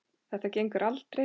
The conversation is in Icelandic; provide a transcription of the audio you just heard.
Þetta gengur aldrei.